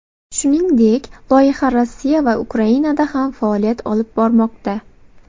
Shuningdek, loyiha Rossiya va Ukrainada ham faoliyat olib bormoqda.